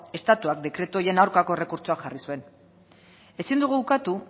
estatutuak dekretu horien aurkako errekurtsoa jarri zuen ezin dugu ukatu